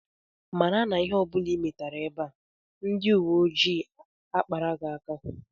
Mara na ihe ọ bụla ị metara ebe a, ndị uwe ojii akpara gị aka!